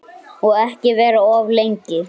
Og ekki vera of lengi.